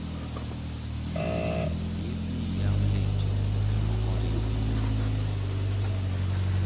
thiethni yao leche mondo remo oring maber